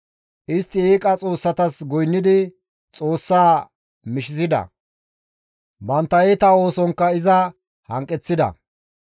Istti eeqa xoossatas goynnidi Xoossaa mishisida; bantta iita oosonkka iza hanqeththida.